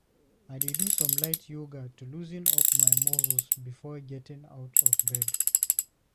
I dey do some light yoga to loosen up my muscles before getting out of bed.